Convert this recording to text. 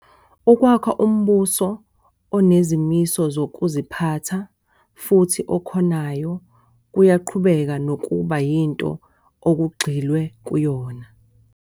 Ukwakha umbuso onezimiso zokuziphatha, futhi okhonayo kuyaqhubeka nokuba yinto okugxilwe kuyona.